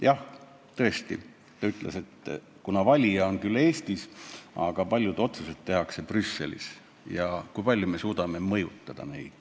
Jah, tõesti, ta ütles, et valija on küll Eestis, aga paljud otsused tehakse Brüsselis ja me ei tea, kui palju me suudame neid mõjutada.